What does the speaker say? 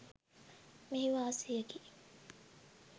මෙහි වාසියකි.